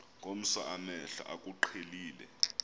ngomso amehlo akuqhelile